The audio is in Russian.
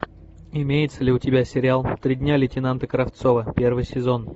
имеется ли у тебя сериал три дня лейтенанта кравцова первый сезон